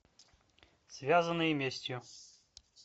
связанные местью